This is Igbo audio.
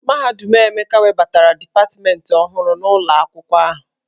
Mahadum Emeka webatara dipatmentị ọhụrụ n'ụlọ akwụkwọ ahụ.